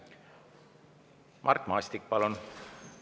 Mart Maastik, palun!